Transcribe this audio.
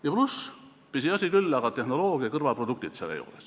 Ja pluss – pisiasi küll, aga ikkagi – on selle juures tehnoloogia kõrvalproduktid.